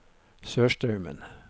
Sørstraumen